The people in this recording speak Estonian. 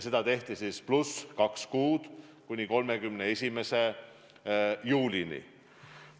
See kehtib kaks kuud, kuni 31. juulini.